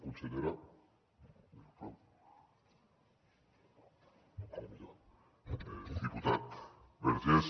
consellera diputat vergés